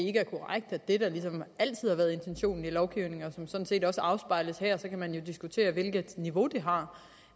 er korrekt at det der ligesom altid har været intentionen i lovgivningen og som sådan set også afspejles her så kan man jo diskutere hvilket niveau det har